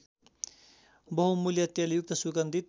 बहुमूल्य तेलयुक्त सुगन्धित